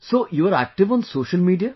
So, you are active on social media